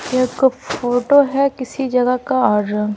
यह एक फोटो है किसी जगह का और--